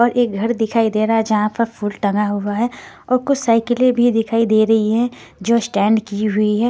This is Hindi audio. और एक घर दिखाई दे रहा है जहाँ पर फूल टंगा हुआ है और कुछ साइकिलें भी दिखाई दे रही हैं जो स्टैंड की हुई है।